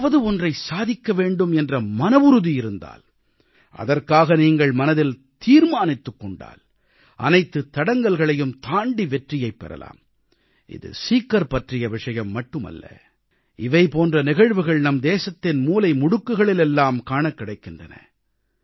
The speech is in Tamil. ஏதாவது ஒன்றை சாதிக்க வேண்டும் என்ற மனவுறுதி இருந்தால் அதற்காக நீங்கள் மனதில் தீர்மானித்துக் கொண்டால் அனைத்துத் தடங்கல்களையும் தாண்டி வெற்றியைப் பெறலாம் இது சீக்கர் பற்றிய விஷயம் மட்டுமல்ல இவை போன்ற நிகழ்வுகள் நம் தேசத்தின் மூலை முடுக்குகளில் எல்லாம் காணக் கிடைக்கின்றன